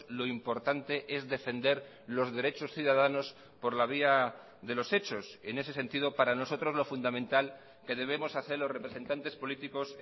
lo importante es defender los derechos ciudadanos por la vía de los hechos en ese sentido para nosotros lo fundamental que debemos hacer los representantes políticos